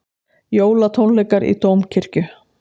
Jólatónleikar í Dómkirkju